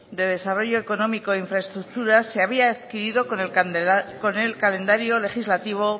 de desarrollo económico e infraestructuras se había adquirido con el calendario legislativo